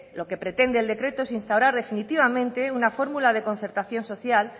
lo que pretende el decreto es instaurar definitivamente una fórmula de concertación social